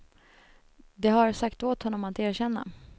De har sagt åt honom att erkänna.